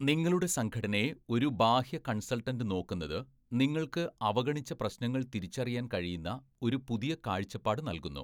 നിങ്ങളുടെ സംഘടനയെ ഒരു ബാഹ്യ കൺസൾട്ടൻ്റ് നോക്കുന്നത്, നിങ്ങൾക്ക് അവഗണിച്ച പ്രശ്നങ്ങൾ തിരിച്ചറിയാൻ കഴിയുന്ന ഒരു പുതിയ കാഴ്ചപ്പാട് നൽകുന്നു.